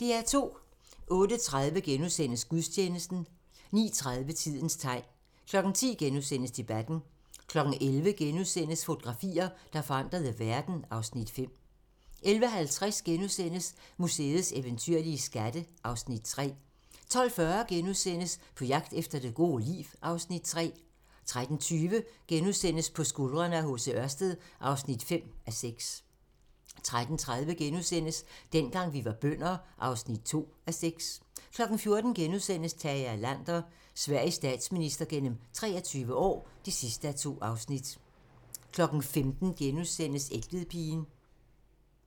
08:30: Gudstjeneste * 09:30: Tidens tegn 10:00: Debatten * 11:00: Fotografier, der forandrede verden (Afs. 5)* 11:50: Museets eventyrlige skatte (Afs. 3)* 12:40: På jagt efter det gode liv (Afs. 3)* 13:20: På skuldrene af H.C. Ørsted (5:6)* 13:30: Dengang vi var bønder (2:6)* 14:00: Tage Erlander - Sveriges statsminister gennem 23 år (2:2)* 15:00: Egtvedpigen *